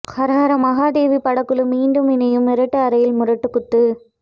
ஹரஹர மஹாதேவகி படக்குழு மீண்டும் இணையும் இருட்டு அறையில் முரட்டுக் குத்து